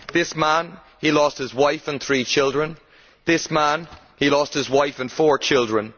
This man, he lost his wife and three children. This man, he lost his wife and four children.